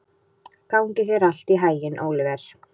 Gangi þér allt í haginn, Óliver.